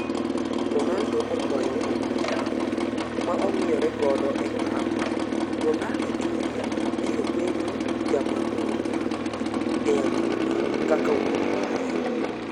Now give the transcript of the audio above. Ronaldo okwayo ong''wee yamo ma ong'iyore godo epap Ronaldo Jr birobedo jamang'ula e adhula kaka wuon mare?